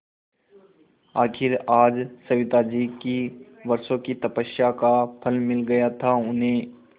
आखिर आज सविताजी की वर्षों की तपस्या का फल मिल गया था उन्हें